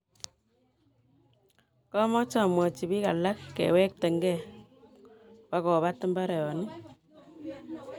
kamache amwachii biik alak kiwegtegei kobugobaat mbaronik